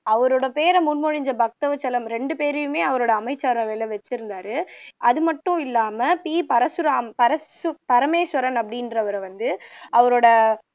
அவரோட பேரை முன் மொழிஞ்ச பக்தவச்சலம் ரெண்டுபேரையுமே அவரோட அமைச்சரவையில வைச்சிருந்தார் அது மட்டும் இல்லாம பி பரசுராம் பரசு பரமேஸ்வரன் அப்படின்றவரை வந்து அவரோட